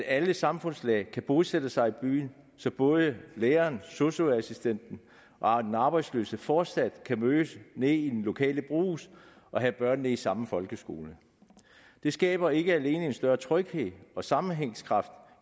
alle samfundslag kan bosætte sig i byen så både læreren sosu assistenten og den arbejdsløse fortsat kan mødes nede i den lokale brugs og have børnene i samme folkeskole det skaber ikke alene en større tryghed og sammenhængskraft